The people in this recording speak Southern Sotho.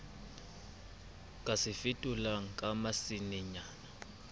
ka se fetolang ka masenenyana